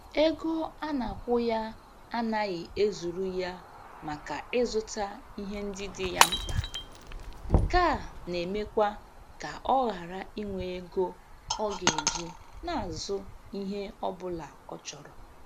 Ego a na-akwụ ya anaghị ezuru ya maka ịzụta ihe ndị dị ya mkpa, nke a na-emekwa ka ọ ghara inwe ego ọ ga-eji na-azụ ihe ọ bụla ọ chọrọ.